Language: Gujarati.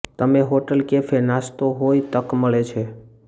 તમે હોટેલ કેફે નાસ્તો હોય તક મળે છે